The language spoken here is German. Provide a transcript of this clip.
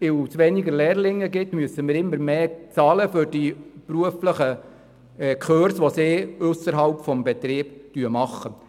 Weil es weniger Lehrlinge gibt, müssen wir immer mehr für die beruflichen Kurse bezahlen, die sie ausserhalb des Betriebs machen.